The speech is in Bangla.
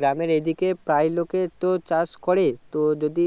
গ্রামের এ দিকে প্রায় লোকের তো চাষ করে তো যদি